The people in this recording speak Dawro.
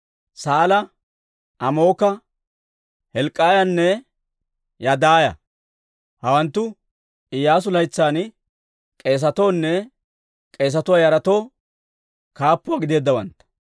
Saala, Amooka, Hilk'k'iyaanne Yadaaya. Hawanttu Iyyaasu laytsan k'eesatoo nne k'eesatuwaa yaratoo kaappuwaa gideeddawantta.